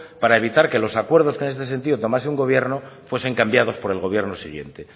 para evitar que los acuerdos que en ese sentido tomase un gobierno fuesen cambiados por el gobierno siguiente